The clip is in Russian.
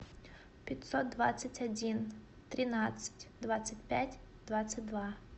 пятьсот двадцать один тринадцать двадцать пять двадцать два